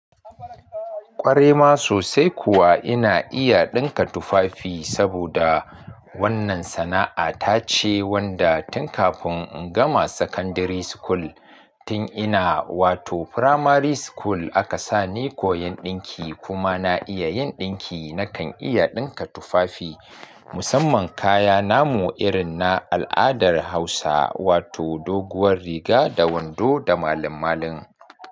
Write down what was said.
Ƙwarai ma sosai kuwa ina iya ɗinka tufafi saboda wannan sana'a ta ce wanda tun kafin in gama secondary school tun ina wato primary school aka sa ni koyan ɗinki kuma na iya yin ɗinki. Na kan iya ɗinka tufafi musamman kaya namu irin na al'adar Hausa wato doguwar riga da wando da malin-malin.